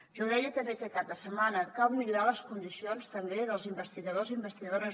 jo deia també aquest cap de setmana que cal millorar les condicions també dels investigadors i investigadores